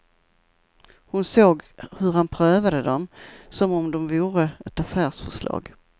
Hon såg hur han prövade dem, som om de vore ett affärsförslag.